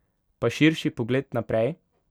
Pa širši pogled naprej?